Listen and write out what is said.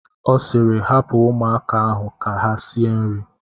Ọ sịịrị, hapụ ụmụaka ahụ ka ha sie nri!